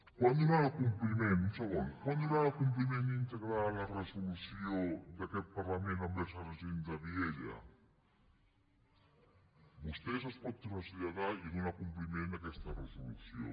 quan donarà compliment un segon íntegre a la resolució d’aquest parlament pel que fa als agents de vielha vostè es pot traslladar i donar compliment a aquesta resolució